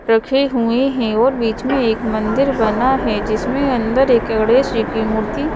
रखे हुए हैं और बीच में एक मंदिर बना है जिसमें अंदर एक गणेश जी की मूर्ति--